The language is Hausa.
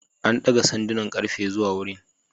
An daga sandunan ƙarfe zuwa wurin.